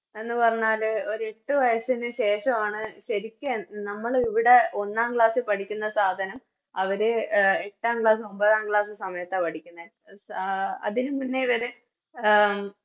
എന്ന് പറഞ്ഞാല് ഒരു എട്ടു വയസ്സിനു ശേഷവാണ് ശെരിക്ക് നമ്മളിവിടെ ഒന്നാം Class ൽ പഠിക്കുന്ന സാധനം അവര് അഹ് എട്ടാം Class ഒമ്പതാം Class സമയത്താ പഠിക്കുന്നെ സ അതിനുമുന്നെ വരെ അഹ്